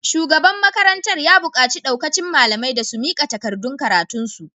Shugaban makarantar ya bukaci daukacin malamai da su mika takardun karatunsu.